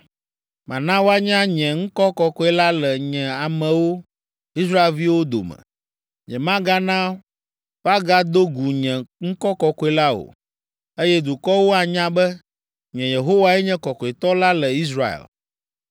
“ ‘Mana woanya nye ŋkɔ kɔkɔe la le nye amewo, Israelviwo dome. Nyemagana woagado gu nye ŋkɔ kɔkɔe la o, eye dukɔwo anya be, nye, Yehowae nye Kɔkɔetɔ la le Israel.